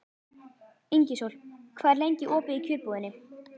Ingisól, hvað er lengi opið í Kjörbúðinni?